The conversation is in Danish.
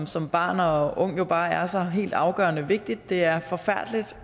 som barn og ung jo bare er så helt afgørende vigtig det er forfærdeligt